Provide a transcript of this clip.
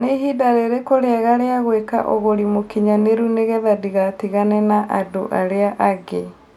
nĩ ĩhinda rĩrĩkũ rĩega rĩa ngũĩka ũgũri mũkinyanĩru nĩ ngetha ndĩgatigane na andũ arĩa angi